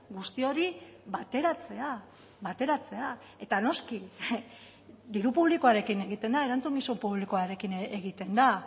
guzti hori bateratzea bateratzea eta noski diru publikoarekin egiten da erantzukizun publikoarekin egiten da